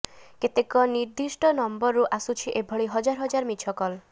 କେତେକ ନିର୍ଦ୍ଦିଷ୍ଟ ନମ୍ବରରୁ ଆସୁଛି ଏଭଳି ହଜାର ହଜାର ମିଛ କଲ୍